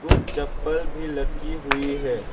कुछ चप्पल भी लटकी हुई है।